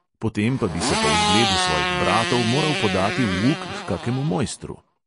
Potem pa bi se po vzgledu svojih bratov moral podati v uk h kakemu mojstru.